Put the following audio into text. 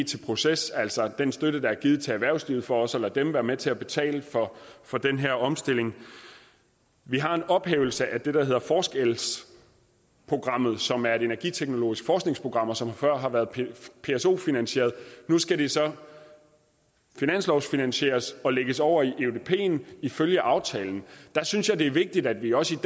til proces altså den støtte der er givet til erhvervslivet for også at lade dem være med til at betale for den her omstilling vi har en ophævelse af det der hedder forskel programmet som er et energiteknologisk forskningsprogram og som før har været pso finansieret nu skal det så finanslovfinansieres og lægges over i eudpen ifølge aftalen der synes jeg det er vigtigt at vi også